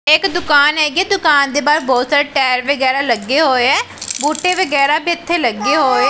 ਇਹ ਇੱਕ ਦੁਕਾਨ ਹੈਗੀ ਦੁਕਾਨ ਦੇ ਬਾਹਰ ਬਹੁਤ ਸਾਰੇ ਟਾਇਰ ਵਗੈਰਾ ਲੱਗੇ ਹੋਏ ਹੈ ਬੂਟੇ ਵਗੈਰਾ ਵੀ ਇੱਥੇ ਲੱਗੇ ਹੋਏ--